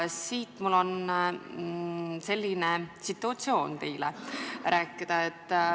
Mul on teile selline situatsioon rääkida.